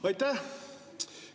Aitäh!